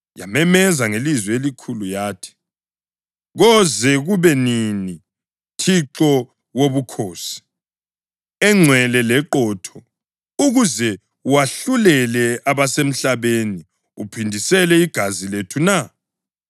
Yamemeza ngelizwi elikhulu yathi, “Koze kube nini, Thixo wobukhosi, engcwele leqotho ukuze wahlulele abasemhlabeni uphindisele igazi lethu na?”